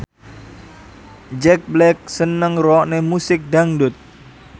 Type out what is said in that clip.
Jack Black seneng ngrungokne musik dangdut